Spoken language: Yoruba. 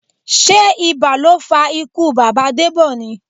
Sé ibà ló fa ikú bàbá Debọ ni?